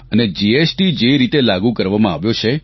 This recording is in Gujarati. અને જીએસટી જે રીતે લાગુ કરવામાં આવ્યો છે